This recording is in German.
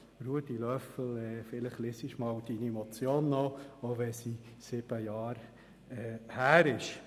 Ich empfehle Grossrat Löffel-Wenger, seine Motion erneut zu lesen, auch wenn diese sieben Jahre alt ist.